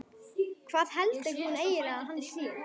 Hvað heldur hún eiginlega að hann sé?